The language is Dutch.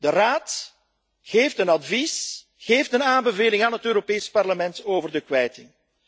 De Raad geeft een advies, geeft een aanbeveling aan het Europees Parlement over de kwijting.